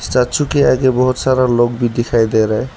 Statue के आगे बहुत सारा लोग भी दिखाई दे रहा है।